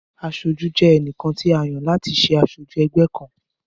Aṣojú jẹ́ ẹnìkan tí a yàn láti ṣé aṣojú ẹgbẹ́ kan